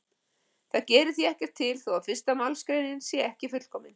Það gerir því ekkert til þó að fyrsta málsgreinin sé ekki fullkomin.